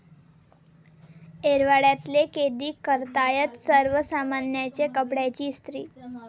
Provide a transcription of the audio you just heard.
येरवड्यातले कैदी करतायत सर्वसामान्यांच्या कपड्यांची इस्त्री